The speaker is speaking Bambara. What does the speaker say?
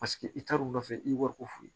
Paseke i t'a dɔn u nɔfɛ i ye wariko f'u ye